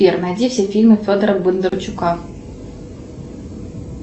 сбер найди все фильмы федора бондарчука